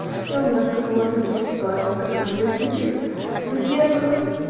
я вам расскажу о других ситуациях которые происходили во-первых